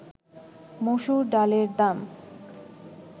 মসুর ডালের দাম